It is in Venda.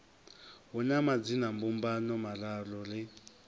hu na madzinambumbano mararu ri